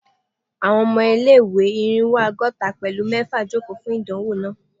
Àwọn ọmọ ilé-ìwé Irínwó ọgọ́ta pẹ̀lú mẹfa joko fun idanwo naa